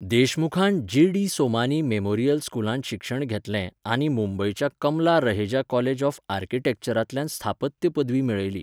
देशमुखान GD Somani memorial स्कूलांत शिक्षण घेतलें आनी मुंबयच्या कमला रहेजा कॉलेज ऑफ आर्किटेक्चरांतल्यान स्थापत्य पदवी मेळयली.